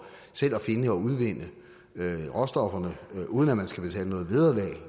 selv at finde og udvinde råstofferne uden at man skal betale noget vederlag